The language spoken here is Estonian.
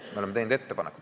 Me oleme teinud ettepaneku.